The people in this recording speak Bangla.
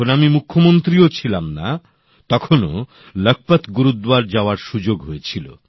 যখন আমি মুখ্যমন্ত্রীও ছিলাম না তখনও লখপত গুরুদ্বার যাওয়ার সুযোগ হয়েছিল